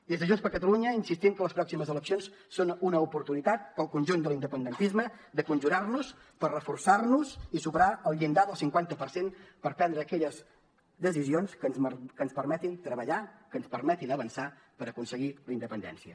des de junts per catalunya insistim que les pròximes eleccions són una oportunitat per al conjunt de l’independentisme de conjurar nos per reforçar nos i superar el llindar del cinquanta per cent per prendre aquelles decisions que ens permetin treballar que ens permetin avançar per aconseguir la independència